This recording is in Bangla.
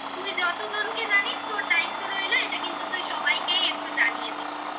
তুই যতজনকে জানিস তোর দায়িত্ব রইল. এটা কিন্তু তুই সবাইকেই একটু জানিয়ে দিস